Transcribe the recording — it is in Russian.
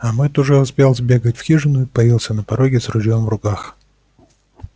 а мэтт уже успел сбегать в хижину и появился на пороге с ружьём в руках